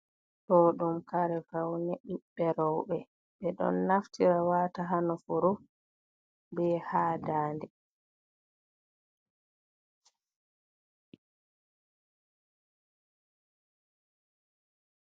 Ɗo ɗum kare faune ɓiɓɓe rewɓe. Ɓeɗon naftira wata ha nofuru be ha daande.